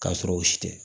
K'a sɔrɔ u si tɛ